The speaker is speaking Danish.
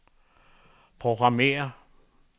programmér